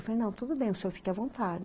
Eu falei, não, tudo bem, o senhor fique à vonta